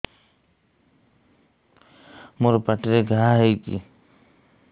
ମୋର ପାଟିରେ ଘା ହେଇଚି